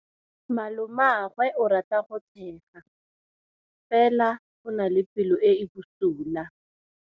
Malomagwe o rata go tshega fela o na le pelo e e bosula.